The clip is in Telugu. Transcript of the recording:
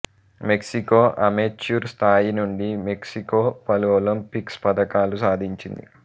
మెక్సికో అమెచ్యూర్ స్థాయి నుండి మెక్సికో పలు ఒలింపిక్స్ పతకాలు సాధించింది